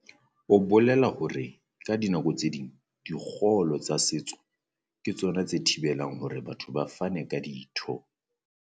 O bolela hore ka dinako tse ding dikgollo tsa setso ke tsona tse thibe lang hore batho ba fane ka ditho.